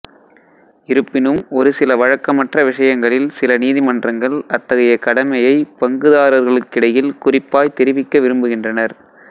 இருப்பினும் ஒரு சில வழக்கமற்ற விஷயங்களில் சில நீதிமன்றங்கள் அத்தகைய கடமையை பங்குதாரர்களுக்கிடையில் குறிப்பாய்த் தெரிவிக்க விரும்புகின்றனர்